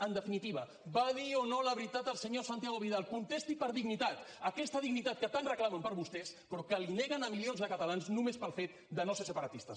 en definitiva va dir o no la veritat el senyor santiago vidal contesti per dignitat aquesta dignitat que tant reclamen per a vostès però que la neguen a milions de catalans només pel fet de no ser separatistes